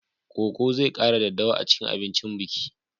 Koko zai kara daddawa a cikin abincin biki.